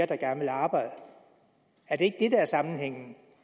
der gerne ville arbejde er det ikke er sammenhængen